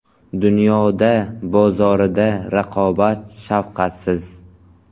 Dunyoda bozorida raqobat shafqatsiz.